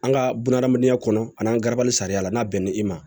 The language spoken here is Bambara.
An ka bunahadamadenya kɔnɔ ani an garabali sariya la n'a bɛnna ni i ma